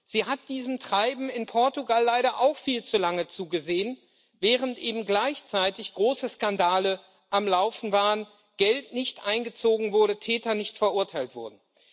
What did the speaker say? Sie hat diesem Treiben in Portugal leider auch viel zu lange zugesehen, während eben gleichzeitig große Skandale am Laufen waren Geld nicht eingezogen wurde, Täter nicht verurteilt wurden.